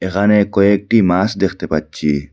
এখানে কয়েকটি মাছ দেখতে পাচ্ছি।